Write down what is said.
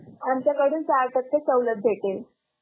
आमच्याकडून चार टक्केपर्यत सवलत भेटेल.